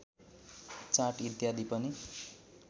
चाट इत्यादि पनि